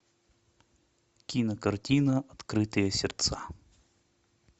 кинокартина открытые сердца